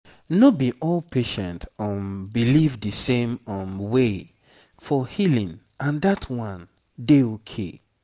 no be all patient um believe the same um way for healing and that one dey okay